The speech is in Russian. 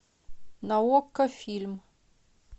на окко фильм